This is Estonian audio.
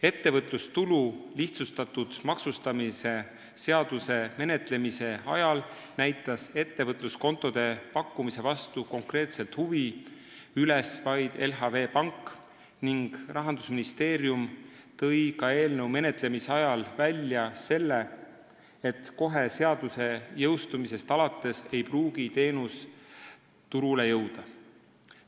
Ettevõtlustulu lihtsustatud maksustamise seaduse eelnõu menetlemise ajal näitas ettevõtluskontode pakkumise vastu konkreetset huvi üles vaid LHV Pank ning Rahandusministeerium tõi juba siis välja ka selle, et teenus ei pruugi kohe seaduse jõustumise järel turule jõuda.